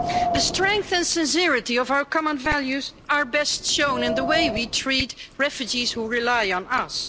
The strength and sincerity of our common values are best shown in the way we treat refugees, who rely on us.